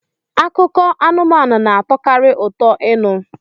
Akụkọ anụmanụ na-atọkarị ụtọ ịnụ